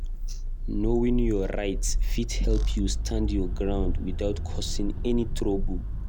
Knowing your rights fit help you stand your ground without causing trouble.